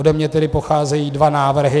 Ode mne tedy pocházejí dva návrhy.